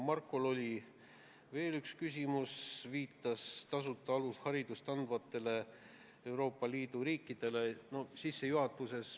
Marko Šorinil oli küsimus ka tasuta alusharidust andvate Euroopa Liidu riikide kohta.